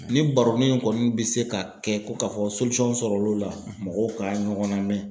Ni baronin in kɔni bɛ se ka kɛ ko ka fɔ sɔrɔl'o la mɔgɔw ka ɲɔgɔn namɛn.